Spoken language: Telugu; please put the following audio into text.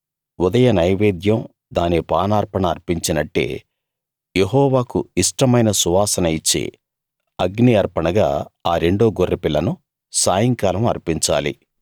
ఉదయ నైవేద్యం దాని పానార్పణ అర్పించినట్టే యెహోవాకు ఇష్టమైన సువాసన ఇచ్చే అగ్ని అర్పణగా ఆ రెండో గొర్రెపిల్లను సాయంకాలం అర్పించాలి